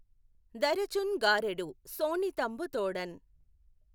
దఱచుఁ గాఱెడు శోణితంబుతోడఁ